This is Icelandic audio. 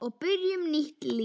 Við byrjum nýtt líf.